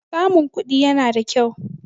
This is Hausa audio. Samun kuɗi yana da kyau.